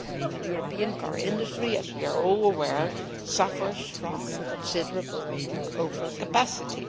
The European car industry, as we are all aware, suffers from considerable overcapacity.